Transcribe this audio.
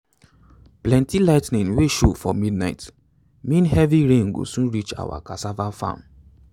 plenty lightning wey show for night mean heavy rain go soon reach our cassava farm.